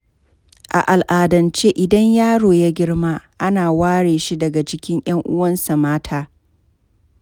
A al'adance idan yaro ya girma, ana ware shi daga cikin 'yan uwansa mata.